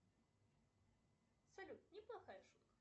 салют не плохая шутка